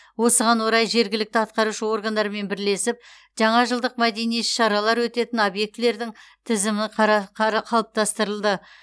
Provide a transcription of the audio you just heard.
осыған орай жергілікті атқарушы органдармен бірлесіп жаңа жылдық мәдени іс шаралар өтетін объектілердің тізімі қалыптастырылды